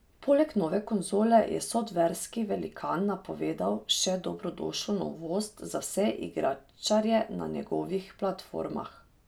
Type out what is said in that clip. Poleg nove konzole je softverski velikan napovedal še dobrodošlo novost za vse igričarje na njegovih platformah.